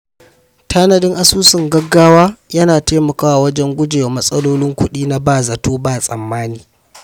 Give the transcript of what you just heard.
Tanadin asusun gaugawa yana taimakawa wajen guje wa matsalolin kuɗi na ba zato ba tsammani.